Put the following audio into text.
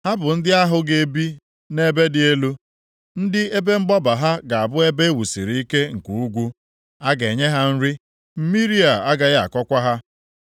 Ha bụ ndị ahụ ga-ebi nʼebe dị elu, ndị ebe mgbaba ha ga-abụ ebe e wusiri ike nke ugwu. A ga-enye ha nri, mmiri a gaghị akọkwa ha.